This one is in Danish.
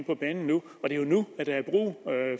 på banen nu og det er jo nu der er brug